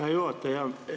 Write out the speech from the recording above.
Hea juhataja!